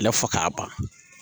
fɔ k'a ban.